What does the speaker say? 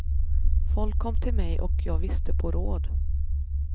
Folk kom till mig och jag visste på råd.